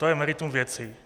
To je meritum věci.